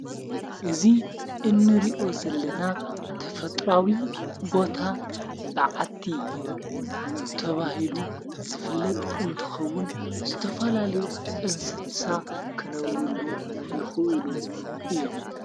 እዙ እንርዮ ዘለና ተፈጥራዊ ቦታ በዓቲ ተብሂሉ ዘፍለጥ እንትኸውን ዘተፋላልዩ እንስሳ ክነብሩሉ ይኽእሉ እዮም።